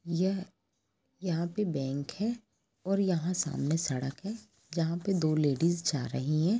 यह यहां पे बैंक है और यहां सामने सड़क हैजहां पे दो लेडिस जा रही है